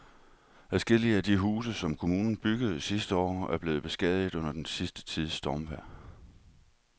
Adskillige af de huse, som kommunen byggede sidste år, er blevet beskadiget under den sidste tids stormvejr.